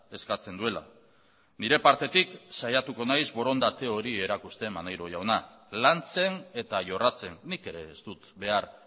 eskatzen duela nire partetik saiatuko naiz borondate hori erakusten maneiro jauna lantzen eta jorratzen nik ere ez dut behar